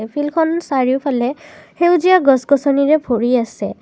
ফিল্ডখন চাৰিওফালে সেউজীয়া গছ-গছনিৰে ভৰি আছে।